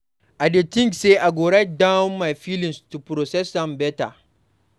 I dey think say I go write down my feelings to process am better.